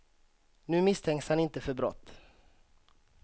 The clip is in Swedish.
Nu misstänks han inte för brott.